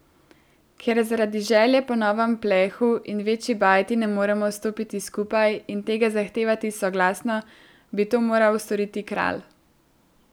Ker zaradi želje po novem plehu in večji bajti ne zmoremo stopiti skupaj in tega zahtevati soglasno, bi to moral storiti kralj.